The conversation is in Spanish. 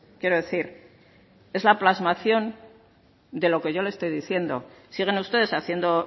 quiero decir es la plasmación de lo que yo le estoy diciendo siguen ustedes haciendo